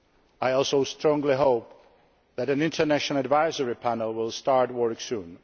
I also strongly hope that an international advisory panel will start work